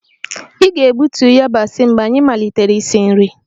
Ị ga-egbutu yabasị mgbe anyị malitere isi nri